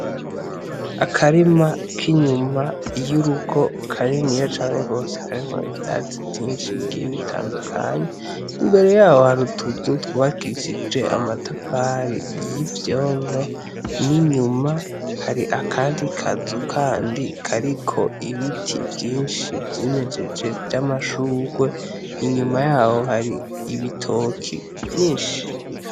Akarima k'inyuma y'urugo kaniniya cane gose karimwo ivyatsi vyinshi bigiye bitandukanye, imbere yaho hari utuzu twubakishijwe amatafari y'ivyondo n'inyuma hari akandi kazu kandi kariko ibiti vyinshi vyimejeje vy'amashugwe. Inyuma yaho hari ibitoki vyinshi.